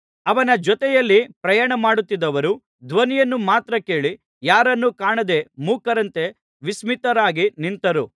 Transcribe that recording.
ಅವನ ಜೊತೆಯಲ್ಲಿ ಪ್ರಯಾಣ ಮಾಡುತ್ತಿದ್ದವರು ಧ್ವನಿಯನ್ನು ಮಾತ್ರ ಕೇಳಿ ಯಾರನ್ನೂ ಕಾಣದೆ ಮೂಕರಂತೆ ವಿಸ್ಮಿತರಾಗಿ ನಿಂತರು